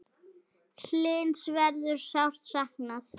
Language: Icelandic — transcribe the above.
Hlyns verður sárt saknað.